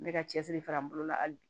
N bɛ ka cɛsiri fara n bolo la hali